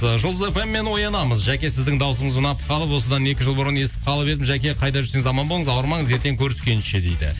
ы жұлдыз фм мен оянамыз жаке сіздің дауысыңыз ұнап қалып осыдан екі жыл бұрын естіп қалып едім жаке қайда жүрсеңіз аман болыңыз ауырмаңыз ертең көріскенше дейді